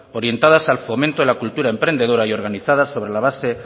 orientadas al fomento de la cultura emprendedora y organizadas sobre la base